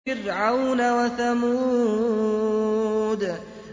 فِرْعَوْنَ وَثَمُودَ